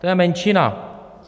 To je menšina.